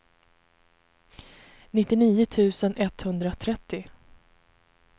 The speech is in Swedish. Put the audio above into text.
nittionio tusen etthundratrettio